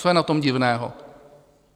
Co je na tom divného?